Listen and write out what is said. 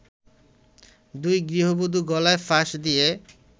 দুই গৃহবধূ গলায় ফাঁস দিয়ে